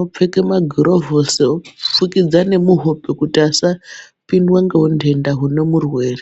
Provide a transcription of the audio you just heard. opfeke magurovhosi, kufukidza nemuhope kuti asapindwa ngehuntenda hune murwere.